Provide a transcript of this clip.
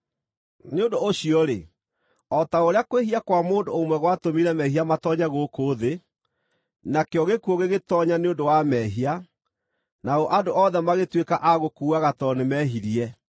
Nĩ ũndũ ũcio-rĩ, o ta ũrĩa kwĩhia kwa mũndũ ũmwe gwatũmire mehia matoonye gũkũ thĩ, nakĩo gĩkuũ gĩgĩtoonya nĩ ũndũ wa mehia, nao andũ othe magĩtuĩka a gũkuaga tondũ nĩmehirie,